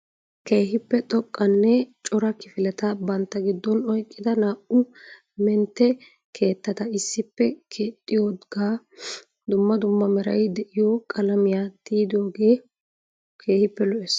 Keehippe xoqqanne cora kifileta bantta giddon oyqqida naa"u mentte keettata issippe keexxidooga dumma dumma meray de'yo qalamiyaa tiyyidooge keehipe lo"ees.